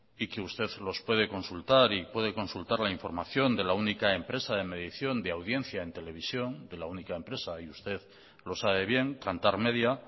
y que usted los puede consultar y puede consultar la información de la única empresa de medición de audiencia en televisión de la única empresa y usted lo sabe bien kantar media